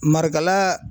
Marikala